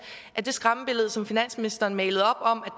at det skræmmebillede som finansministeren malede op om